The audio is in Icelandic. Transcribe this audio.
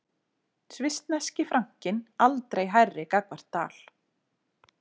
Svissneski frankinn aldrei hærri gagnvart dal